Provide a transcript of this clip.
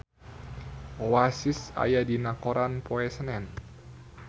Oasis aya dina koran poe Senen